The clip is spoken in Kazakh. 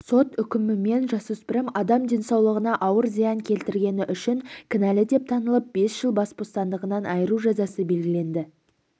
сот үкімімен жасөспірім адам денсаулығына ауыр зиян келтіргені үшін кінәлі деп танылып бес жыл бас бостандығынан айыру жазасы белгіленді